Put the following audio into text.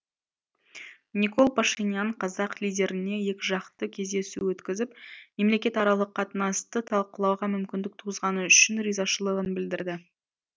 никол пашинян қазақ лидеріне екіжақты кездесу өткізіп мемлекетаралық қатынасты талқылауға мүмкіндік туғызғаны үшін ризашылығын білдірді